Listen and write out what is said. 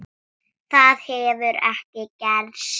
Það hefur ekki gerst.